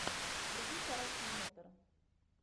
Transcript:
вруби короткий метр